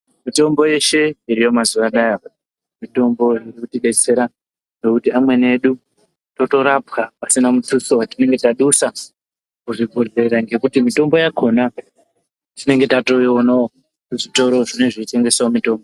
Mitombo yeshe iriyo mazuwa anaya mitombo inotidetsera ngekuti amweni edu totorapwa pasina mutsutsu watinenge tadusa kuzvibhehlera ngekuti mitombo yakhona tinenge tatoiona muzvitoro zvinotengesa mitombo.